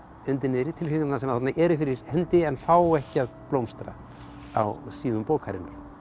undir niðri tilfinningarnar sem eru fyrir hendi en fá ekki að blómstra á síðum bókarinnar